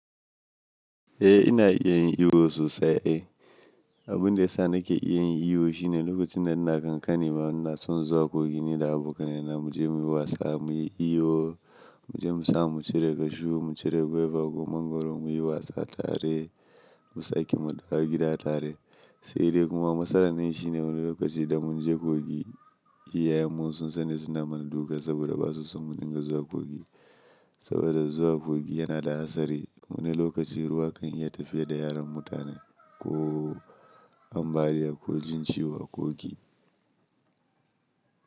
Eh ina iya yin iyo sosai. Abin da ya sa nake iya yin iyo shine lokacin da ina kankani ma ina son zuwa kogi ni da abokanai na muje muyi wasa muyi iyo, muje musamu mu cire cashew, mu cire gwaiba ko mangwaro muyi wasa tare. Mu sake mu dawo gida tare. Sai dai kuma matsalar nan shine wani lokaci da munje kogi, iyayen mu sun san da suna mana duka saboda ba su son mu dinga zuwa kogi. Saboda zuwa kogi yana da hatsari. Wani lokaci ruwa kan iya tafiya da yaran mutane ko ambaliya ko jin ciwo a kogi.